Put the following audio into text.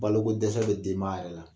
Balokodɛsɛ bɛ denbaya yɛrɛ la